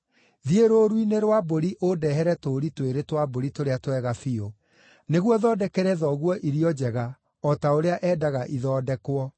Thiĩ rũũru-inĩ rwa mbũri ũndehere tũũri twĩrĩ twa mbũri tũrĩa twega biũ, nĩguo thondekere thoguo irio njega, o ta ũrĩa endaga ithondekwo.